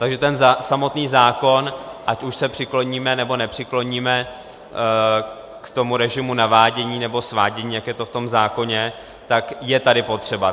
Takže ten samotný zákon, ať už se přikloníme, nebo nepřikloníme k tomu režimu navádění, nebo svádění, jak je to v tom zákoně, tak je tady potřeba.